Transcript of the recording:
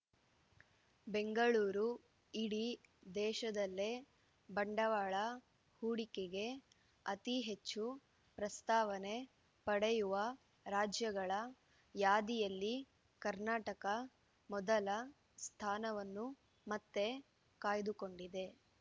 ಬೆಂಗಳೂರು ಇಡೀ ದೇಶದಲ್ಲೇ ಬಂಡವಾಳ ಹೂಡಿಕೆಗೆ ಅತಿ ಹೆಚ್ಚು ಪ್ರಸ್ತಾವನೆ ಪಡೆಯುವ ರಾಜ್ಯಗಳ ಯಾದಿಯಲ್ಲಿ ಕರ್ನಾಟಕ ಮೊದಲ ಸ್ಥಾನವನ್ನು ಮತ್ತೆ ಕಾಯ್ದುಕೊಂಡಿದೆ